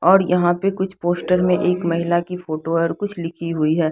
और यहाँ पे कुछ पोस्टर मे एक महिला की फोटो है और कुछ लिखी हुई है।